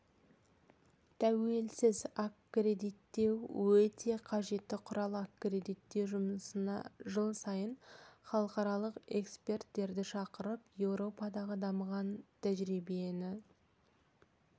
тәуелсіз аккредиттеу өте қажетті құрал аккредиттеу жұмысына жыл сайын халықаралық эксперттерді шақырып еуропадағы дамыған тәжірибені